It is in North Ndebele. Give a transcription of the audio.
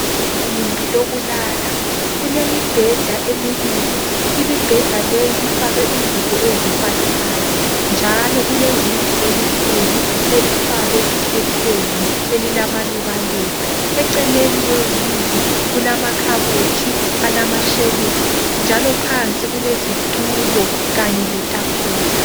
Igumbi lokulala, kulemibheda emibili. Imibheda leyi ifakwe ingubo ezifananayo njalo kulewindi elikhulu elifakwe ikhetheni elilamalubaluba. Eceleni kwewindi kulamakhabothi alamashelufu njalo phansi kulezitulo kanye letafula